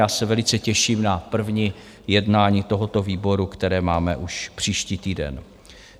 Já se velice těším na první jednání tohoto výboru, které máme už příští týden.